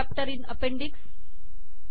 first chapter in appendix